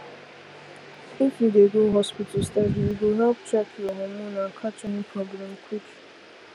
if you dey go hospital steady e go help check your hormone and catch any problem quick